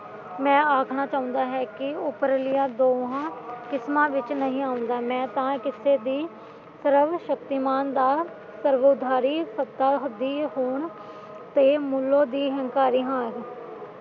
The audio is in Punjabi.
ਮੈਂ ਆਖਣਾ ਚਾਹੁੰਦਾ ਹੈ ਕਿ ਉਪਰਲੀਆਂ ਦੋਹਾਂ ਕਿ੍ਸ਼ਮਾ ਵਿੱਚ ਨਹੀਂ ਆਉਂਦਾ ਮੈਂ ਤਾਂ ਕਿਸੇ ਦੀ ਪੂਰਵ ਸ਼ਕਤੀਮਾਨ ਦਾ ਪ੍ਰਵੋਧਾਰੀ ਸੱਤਾ ਦੀ ਹੋਣ ਤੇ ਮੱਲੋ ਦਾ ਹੰਕਾਰੀ ਹਾਂ